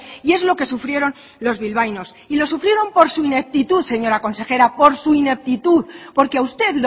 y es lo que sufrieron los bilbaínos y lo sufrieron por su ineptitud señora consejera por su ineptitud porque a usted